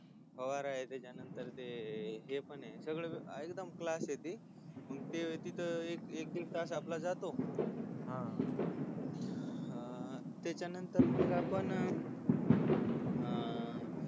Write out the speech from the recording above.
फवारा त्याच्यामध्ये हे पणय एकदम क्लास ती मग तिथ एकदीड तास आपला जातोच हा अह त्याच्यानंतर मग आपण अह